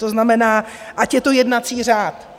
To znamená, ať je to jednací řád.